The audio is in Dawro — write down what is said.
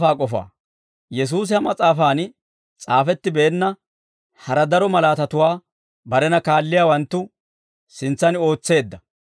Yesuusi ha mas'aafan s'aafettibeenna hara daro malaatatuwaa barena kaalliyaawanttu sintsan ootseedda.